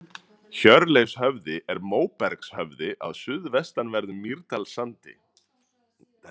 Hjörleifshöfði er móbergshöfði á suðvestanverðum Mýrdalssandi.